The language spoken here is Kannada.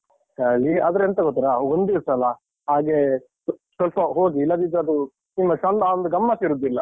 ಚಳಿ, ಆದ್ರೆಂತ ಗೊತ್ತುರಾ, ಒಂದ್ಸಿವ ಅಲ್ಲ? ಹಾಗೆ ಸ್ವಲ್ಪ ಹೋಗಿ, ಇಲ್ಲದಿದ್ರದು ತುಂಬಾ ಚೆಂದ ಅಂದ್ರೆ ಗಮ್ಮತ್ತಿರುವುದಿಲ್ಲ.